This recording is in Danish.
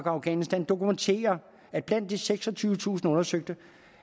afghanistan dokumenterer at blandt de seksogtyvetusind undersøgte